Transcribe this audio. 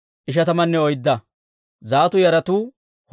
Azggaada yaratuu 2,322.